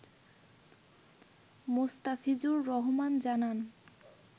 মোস্তাফিজুর রহমান জানান